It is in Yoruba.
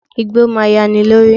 Igbó máa yani lórí.